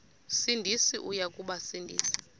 sindisi uya kubasindisa